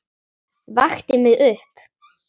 Vakti mig upp.